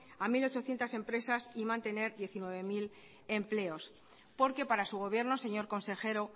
a mil ochocientos empresas y mantener diecinueve mil empleos porque para su gobierno señor consejero